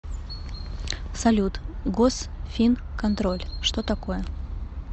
салют госфинконтроль что такое